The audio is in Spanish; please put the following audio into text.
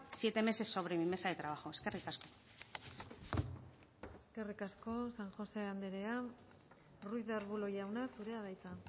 siete meses sobre mi mesa de trabajo eskerrik asko eskerrik asko san josé andrea ruiz de arbulo jauna zurea da hitza